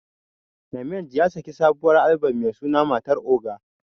Namenj ya sake sabuwar Albom Mai taken 'matar oga'.